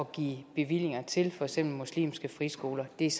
give bevillinger til for eksempel muslimske friskoler er